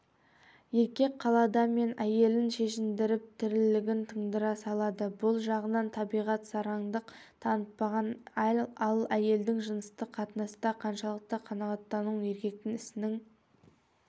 еркек қалады ма әйелін шешіндіріп тірлігін тындыра салады бұл жағынан табиғат сараңдық танытпаған ал әйелдің жыныстық қатынаста қаншалықты қанағаттануы еркектің ісінің